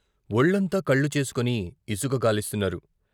ఒళ్లంతా కళ్ళు చేసుకుని ఇసుక గాలిస్తున్నారు.